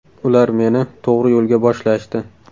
Ular meni tog‘ri yo‘lga boshlashdi.